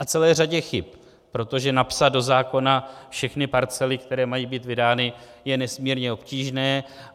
A celé řadě chyb, protože napsat do zákona všechny parcely, které mají být vydány, je nesmírně obtížné.